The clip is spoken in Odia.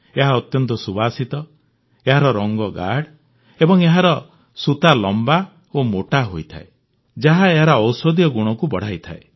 ଏହା ଅତ୍ୟନ୍ତ ସୁବାସିତ ଏହାର ରଂଗ ଗାଢ଼ ଏବଂ ଏହାର ସୂତା ଲମ୍ବା ଓ ମୋଟା ହୋଇଥାଏ ଯାହା ଏହାର ଔଷଧୀୟ ଗୁଣକୁ ବଢ଼ାଇଥାଏ